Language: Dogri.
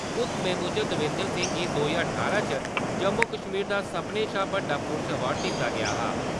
हुक्मै मुजब, देविंदर सिंह गी दो ज्हार ठारां च जम्मू-कश्मीर दा सभनें शा बड्डा पुलस अवार्ड दित्ता गेआ हा।